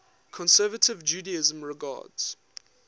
conservative judaism regards